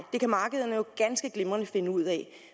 det kan markedet jo ganske glimrende finde ud af